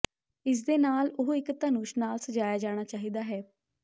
ਇਸ ਦੇ ਨਾਲ ਉਹ ਇੱਕ ਧਨੁਸ਼ ਨਾਲ ਸਜਾਇਆ ਜਾਣਾ ਚਾਹੀਦਾ ਹੈ